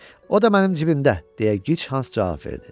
O da mənim cibimdə, deyə Gic Hans cavab verdi.